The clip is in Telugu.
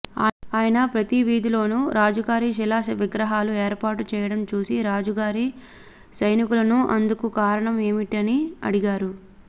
ఆయన ప్రతివీధిలోనూ రాజుగారి శిలా విగ్రహాలు ఏర్పాటు చేయడం చూసి రాజుగారి సైనికులను అందుకు కారణం ఏమిటన అడిగాడు